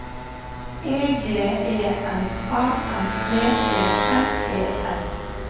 E G E N A N D E L E R